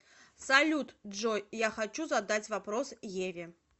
салют джой я хочу задать вопрос еве